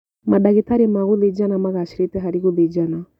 Mandagĩtarĩ ma gũthĩnjana magacĩrĩte harĩ gũthĩnjana